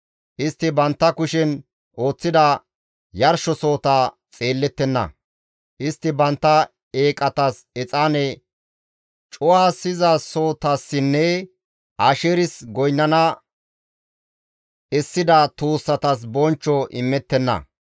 Istti bantta kushen ooththida yarshosohota xeellettenna; istti bantta eeqatas exaane cu7asizasohotassinne Asheeris goynnana essida tuussatas bonchcho imettenna.